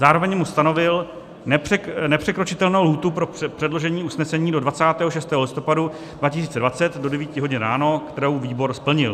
Zároveň mu stanovil nepřekročitelnou lhůtu pro předložení usnesení do 26. listopadu 2020 do 9 hodin ráno, kterou výbor splnil.